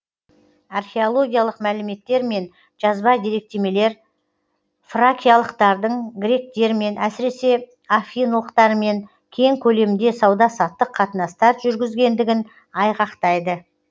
археологиялық мәліметтер мен жазба деректемелер фракиялықтардың гректермен әсіресе афиналықтармен кең көлемде сауда саттық қатынастар жүргізгендігін айғақтайды